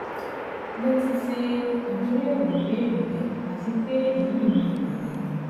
Mo ti ṣe atunyẹwo ibeere rẹ ati pe eyi ni imọran mi